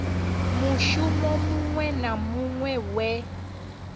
mushumo muṅwe na muṅwe we